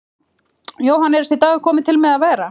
Jóhann: Er þessi dagur kominn til með að vera?